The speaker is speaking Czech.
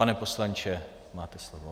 Pane poslanče, máte slovo.